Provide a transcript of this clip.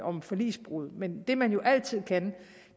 om forligsbrud men det man jo altid kan